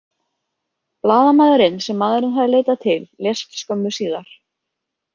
Blaðamaðurinn, sem maðurinn hafði leitað til, lést skömmu síðar.